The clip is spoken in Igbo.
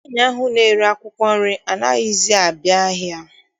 Nwaanyị ahụ na-ere akwụkwọ nri anaghịzi abịa ahịa.